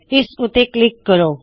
ਇਸ ਉੱਤੇ ਕਲਿੱਕ ਕਰੋ